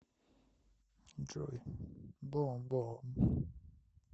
джой бум бум